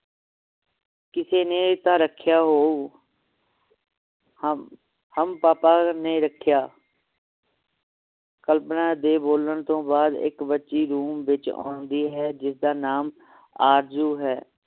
ਕਿਸੇ ਨੇ ਤਾ ਰੱਖਿਆ ਹੋ ਹਮ ਹਮ ਪਾਪਾ ਨੇ ਰੱਖਿਆ ਕਲਪਨਾ ਦੇ ਬੋਲਣ ਤੋਂ ਬਾਅਦ ਇੱਕ ਬੱਚੀ ਨੂੰ ਵਿਚ ਆਉਂਦੀ ਹੈ ਜਿਸ ਦਾ ਨਾਮ ਆਰਜ਼ੂ ਹੈ